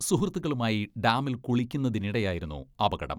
സുഹൃത്തുകളുമായി ഡാമിൽ കുളിക്കുന്നതിനിടെയായിരുന്നു അപകടം.